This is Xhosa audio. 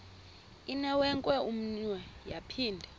inewenkwe umnwe yaphinda